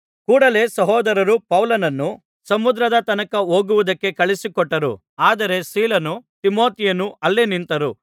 ಕೂಡಲೇ ಸಹೋದರರು ಪೌಲನನ್ನು ಸಮುದ್ರದ ತನಕ ಹೋಗುವುದಕ್ಕೆ ಕಳುಹಿಸಿಕೊಟ್ಟರು ಆದರೆ ಸೀಲನೂ ತಿಮೊಥೆಯನೂ ಅಲ್ಲೇ ನಿಂತರು